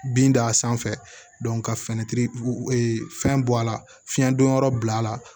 Bin da a sanfɛ ka fɛrɛ fɛn bɔ a la fiɲɛ don yɔrɔ bil'a la